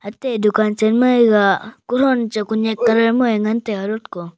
ate dukaan chenma ega kothon che konyak colour mau ngan taiga lotko.